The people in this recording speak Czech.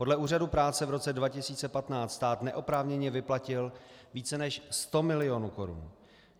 Podle Úřadu práce v roce 2015 stát neoprávněně vyplatil více než 100 milionů korun.